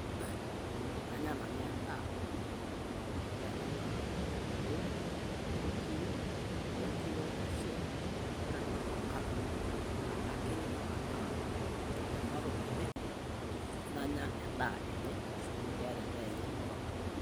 Kany'a nanu endaa, ore ena naa orkitoweo loonkiri, loonkiri oonkwashen. Ore ena naa olfakado naa akakiny' nanang'aa ena toki eny'e, nany'a endaa eny'e amu keeta endaa eny'e olfakado.